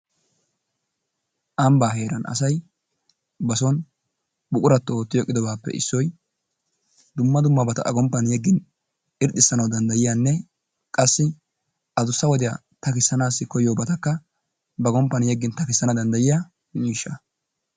Ambbaa heeran asay bason buquratto ootti oyqqidobaappe issoy dumma dummabata A gomppan yeggin irxxissanawu danddayiyanne qassi adussa wodiya takissanaassi koyiyobatakka ba gomppan yeggin takkissana danddayiya miishshaa.